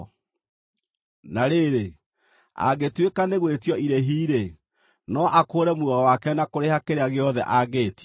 Na rĩrĩ, angĩtuĩka nĩ gwĩtio irĩhi-rĩ, no akũũre muoyo wake na kũrĩha kĩrĩa gĩothe angĩĩtio.